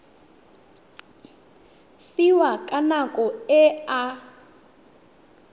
fiwang ka nako e a